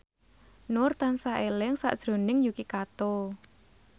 Nur tansah eling sakjroning Yuki Kato